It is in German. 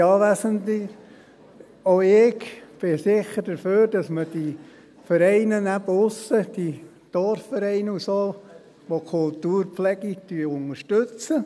der SiK. Auch ich bin sicher dafür, dass man die Vereine, eben auch die Kultur draussen, diese Dorfvereine und so, pflegt, unterstützt.